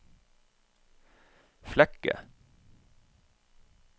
Flekke